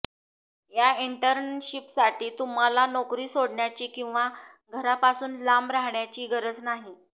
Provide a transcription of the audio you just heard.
या इंटर्नशिपसाठी तुम्हाला नोकरी सोडण्याची किंवा घरापासून लांब राहण्याची गरज नाही